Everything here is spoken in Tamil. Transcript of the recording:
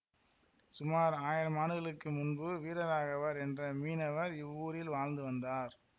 சுமார் ஆயிரம் ஆண்டுகளுக்கு முன்பு வீரராகவர் என்ற மீனவர் இவ்வூரில் வாழ்ந்து வந்தார்